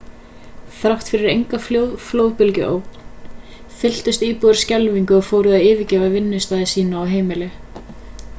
þrátt fyrir enga flóðbylgjuógn fylltust íbúar skelfingu og fóru að yfirgefa vinnustaði sína og heimili